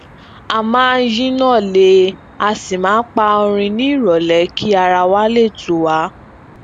a máa ń yinna lè aa si pa orin ní irọlẹ kí ara wa lè tù wá